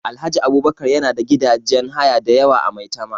Alhaji Abubakar yana da gidajen haya da yawa a Maitama